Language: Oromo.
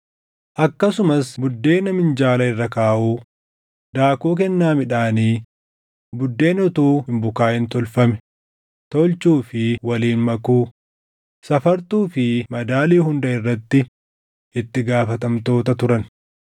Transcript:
Akkasumas buddeena minjaala irra kaaʼuu, daakuu kennaa midhaanii, buddeena utuu hin bukaaʼin tolfame, tolchuu fi waliin makuu, safartuu fi madaalii hunda irratti itti gaafatamtoota turan.